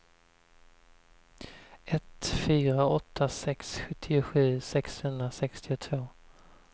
ett fyra åtta sex sjuttiosju sexhundrasextiotvå